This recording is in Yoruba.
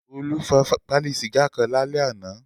Olú fa pálí sìgá kan lálẹ́ àná.